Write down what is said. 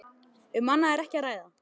Um annað er ekki að ræða.